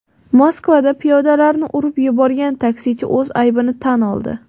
Moskvada piyodalarni urib yuborgan taksichi o‘z aybini tan oldi.